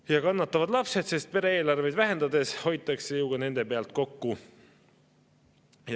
Ja kannatavad lapsed, sest pere-eelarveid vähendades hoitakse ju ka nende pealt kokku.